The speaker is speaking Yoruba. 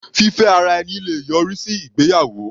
Fífẹ́ ara ẹni le yọrí sí ìgbéyàwó.